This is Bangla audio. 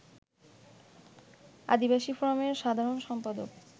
আদিবাসী ফোরামের সাধারণ সম্পাদক